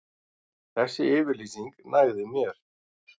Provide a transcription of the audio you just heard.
Þessi yfirlýsing nægði mér.